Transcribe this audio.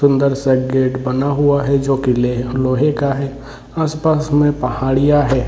सुंदर सा गेट बना हुआ है जो कि लेह लोहे का है आस-पास में पहाड़िया है।